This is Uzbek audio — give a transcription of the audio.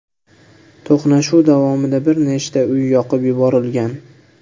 To‘qnashuv davomida bir nechta uy yoqib yuborilgan.